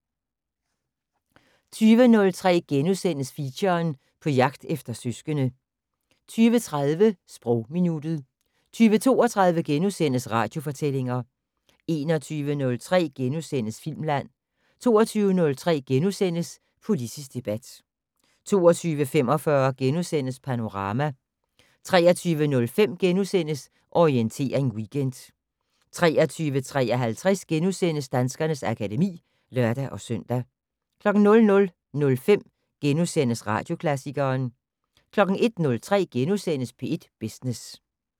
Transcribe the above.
20:03: Feature: På jagt efter søskende * 20:30: Sprogminuttet 20:32: Radiofortællinger * 21:03: Filmland * 22:03: Politisk debat * 22:45: Panorama * 23:05: Orientering Weekend * 23:53: Danskernes akademi *(lør-søn) 00:05: Radioklassikeren * 01:03: P1 Business *